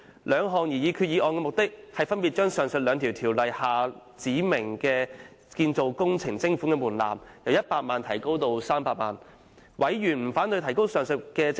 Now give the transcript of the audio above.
兩項擬議決議案的目的，是分別將上述兩項條例下指明就建造工程徵款的門檻，由100萬元提高至300萬元。